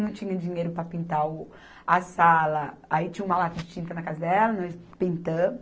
Não tinha dinheiro para pintar o, a sala, aí tinha uma lata de tinta na casa dela, nós pintamos.